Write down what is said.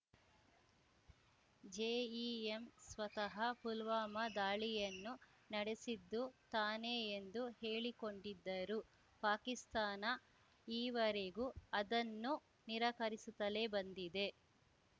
JEM ಸ್ವತಃ ಪುಲ್ವಾಮಾ ದಾಳಿಯನ್ನು ನಡೆಸಿದ್ದು ತಾನೇ ಎಂದು ಹೇಳಿಕೊಂಡಿದ್ದರೂ ಪಾಕಿಸ್ತಾನ ಈವರೆಗೂ ಅದನ್ನು ನಿರಾಕರಿಸುತ್ತಲೇ ಬಂದಿದೆ